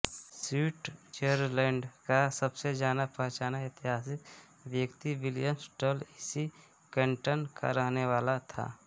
Switzerland का सबसे जानापहचाना ऐतिहासिक व्यक्ति विलियम टॅल इसी कैन्टन का रहने वाला था